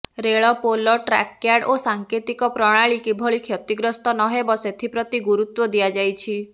ରେଳ ପୋଲ track yard ଓ ସାଙ୍କେତିକ ପ୍ରଣାଳୀ କିଭଳି କ୍ଷତିଗ୍ରସ୍ତ ନ ହେବ ସେଥିପ୍ରତି ଗୁରୁତ୍ବ ଦିଆଯାଇଛି